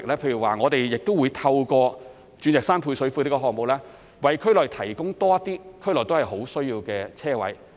例如，我們會透過鑽石山配水庫項目，為區內提供更多有殷切需求的車位。